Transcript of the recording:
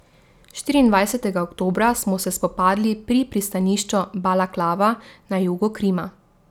Štiriindvajsetega oktobra smo se spopadli pri pristanišču Balaklava na jugu Krima.